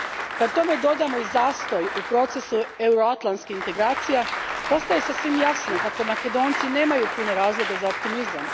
Kad tome dodamo i zastoj u procesu euroatlantskih integracija postaje sasvim jasno kako Makedonci nemaju puno razloga za optimizam.